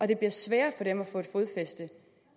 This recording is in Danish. det bliver sværere for dem at få fodfæste